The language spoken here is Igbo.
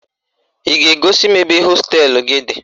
Ị ga-egosi m ebe hosteelụ gị dị?